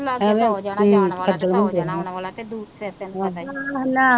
ਇੱਥੇ ਤਾਂ ਹੋ ਜਾਣਾ ਲਾਗੇ ਤਾਂ ਹੋ ਜਾਣਾ ਜਾਂ ਵਾਲਾਂ ਹੋ ਜਾਣਾ ਆਣ ਵਾਲਾਂ ਹੋ ਜਾਣਾ,